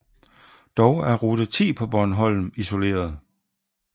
Dog er rute 10 på Bornholm isoleret